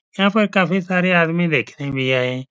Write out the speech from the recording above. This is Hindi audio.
यहाँ पर काफी सारे आदमी देखने भी आए।